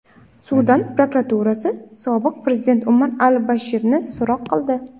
Sudan prokuraturasi sobiq prezident Umar al-Bashirni so‘roq qildi.